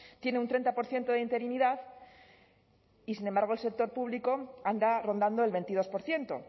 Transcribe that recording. tiene un treinta por ciento de interinidad y sin embargo el sector público anda rondando el veintidós por ciento